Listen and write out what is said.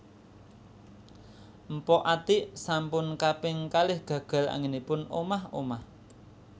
Mpok Atiek sampun kaping kalih gagal anggenipun omah omah